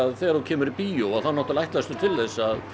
þegar þú kemur í bíó þá ætlastu til þess að